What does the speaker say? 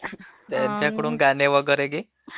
त्यांच्याकडून गाणे वगैरे...